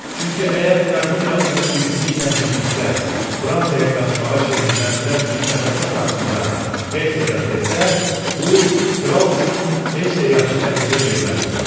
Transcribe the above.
Çünki əgər Qrafinya onu bibisi ilə birlikdə Fransaya qaçmağa şirinlikləndirən fitnə-fəsad haqqında Hersoqa desə, bu kral üçün heç də yaxşı nəticə verməzdi.